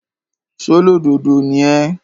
ṣólódodo ni ẹ́?